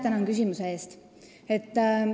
Tänan küsimuse eest!